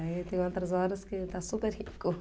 Aí tem outras horas que está super rico.